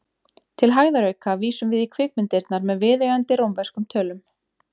Til hægðarauka vísum við í kvikmyndirnar með viðeigandi rómverskum tölum.